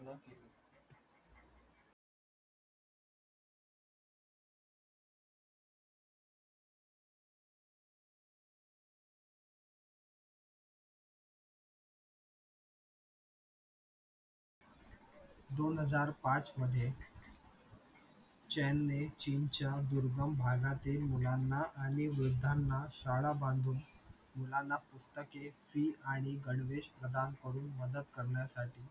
दोन हजार पाच मधे chan ने chin च्या दुर्गम भागातील मुलांना आणि रुद्धांना शाळा बांधून मुलांना पुस्तकी fees आणि गणवेश प्रधान करुन मदत करण्यासाठी